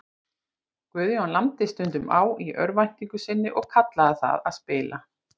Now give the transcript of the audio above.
Guðjón lamdi stundum á í örvæntingu sinni og kallaði það að spila.